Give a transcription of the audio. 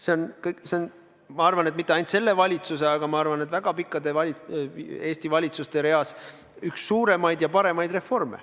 See on, ma arvan, mitte ainult selle valitsuse, vaid väga pikas Eesti valitsuste reas üks suurimaid ja parimaid reforme.